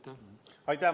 Aitäh!